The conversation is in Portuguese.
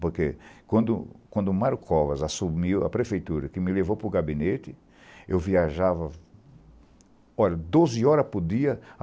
Porque, quando quando o Mário Covas assumiu a Prefeitura, que me levou para o gabinete, eu viajava doze horas por dia.